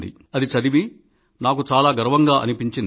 అది చదివి నాకు చాలా గర్వంగా అనిపించింది